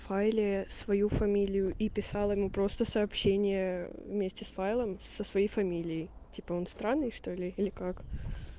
файле свою фамилию и писала ему просто сообщение вместе с файлом со своей фамилией типа он странный что ли или как